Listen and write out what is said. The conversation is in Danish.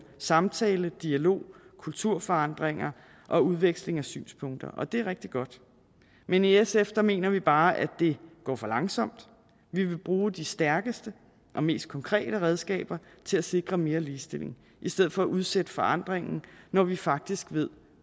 samtale dialog kulturforandringer og udveksling af synspunkter det er rigtig godt men i sf mener vi bare at det går for langsomt vi vil bruge de stærkeste og mest konkrete redskaber til at sikre mere ligestilling i stedet for at udsætte forandring når vi faktisk ved